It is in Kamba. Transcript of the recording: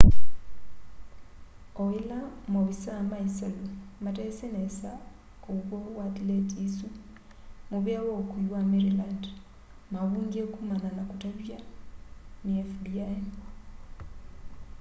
o ila maovisaa ma isalu matesi nesa uw'o wa thileti isu muvea wa ukui wa maryland mavungie kumana na kutavya ni fbi